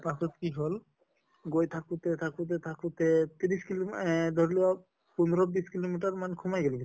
পাছত কি হʼল গৈ থাকোতে থাকোতে থাকোতে ত্ৰিছ kilo ম এহ ধৰি লোৱা পোন্ধৰ বিছ kilo meter মান সোমাই গʼলো